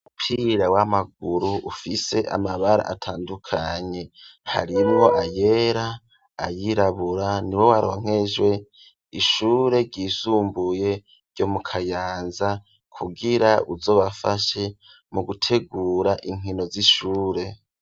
Umupira w'amaguru ufise amabara atandukanye : harimwo ayera, ayirabura ni wo waronkejwe ishure ryisumbuye ryo mu Kayanza kugira uzobafashe mu gutegura inkino z'ishure.